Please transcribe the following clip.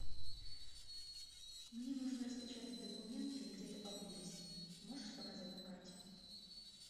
мне нужно распечатать документы где то поблизости можешь показать на карте